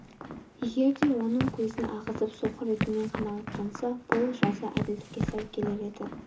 егер де оның екі көзін ағызып соқыр етумен қанағаттанса бұл жаза әділдікке сай келер еді